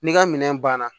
N'i ka minɛn banna